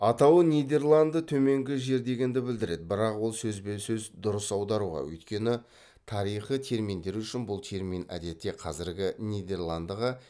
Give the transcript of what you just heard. атауы нидерланды төменгі жер дегенді білдіреді бірақ ол сөзбе дұрыс аударуға өйткені тарихы терминдер үшін бұл термин әдетте қазіргі нидерландыға